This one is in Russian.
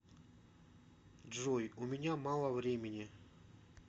джой у меня мало времени